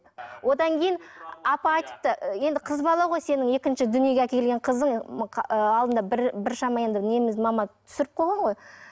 одан кейін апа айтыпты енді қыз бала ғой сенің екіншің дүниеге әкелген қызың алдында бір біршама енді негізі мама түсіріп қойған ғой